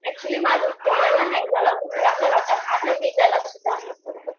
actually माझा mobile ना hang झाला होता खराब झाला होता, आता मी त्याला सुधारलं